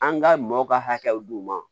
An ka maaw ka hakɛw d'u ma